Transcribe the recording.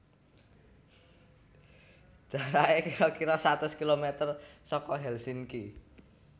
Jarake kiro kiro satus kilometer soko Helsinki